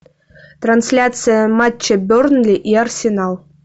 трансляция матча бернли и арсенал